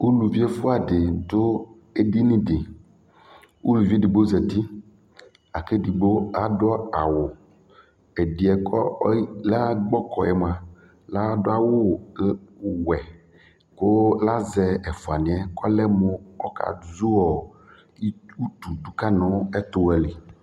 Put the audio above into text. Uluvi ɛfuadi du edini di Uluvi edigbo za uti aku edigbo adu awu ɛdi yɛ ku lagbɔkɔ yɛ mua ladu awu wuwɛ ku la zɛ ɛfuani yɛ ku ɔlɛ mu ɔkazu utu du ka nu ɛtuɣa li